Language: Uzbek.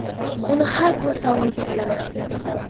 Uni har kuni sog‘inib qolaman.